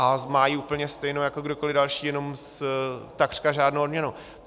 A má ji úplně stejnou jako kdokoli další, jenom takřka žádnou odměnu.